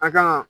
An kan